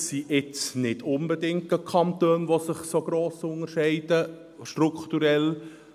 Es sind nicht unbedingt Kantone, die sich strukturell gross von unserem Kanton unterscheiden.